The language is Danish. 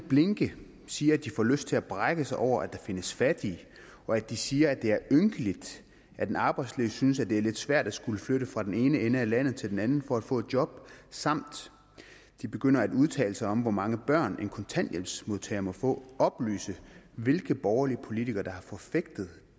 at blinke siger at de får lyst til at brække sig over at der findes fattige og at de siger at det er ynkeligt at en arbejdsløs synes at det er lidt svært at skulle flytte fra den ene ende af landet til den anden for at få et job samt at de begynder at udtale sig om hvor mange børn en kontanthjælpsmodtager må få oplyse hvilke borgerlige politikere der har forfægtet